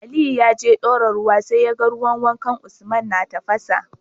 Aliyu yaje dora ruwa sai yaga ruwan wankan usman na tafasa